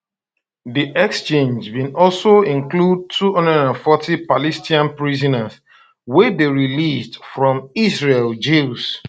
di exchange bin also include 240 palestinian prisoners wey dey released from israeli jails